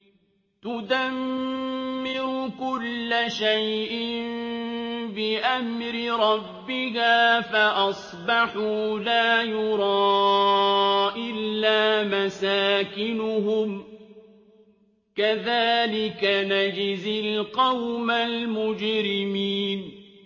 تُدَمِّرُ كُلَّ شَيْءٍ بِأَمْرِ رَبِّهَا فَأَصْبَحُوا لَا يُرَىٰ إِلَّا مَسَاكِنُهُمْ ۚ كَذَٰلِكَ نَجْزِي الْقَوْمَ الْمُجْرِمِينَ